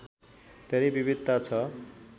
धेरै विविधता छ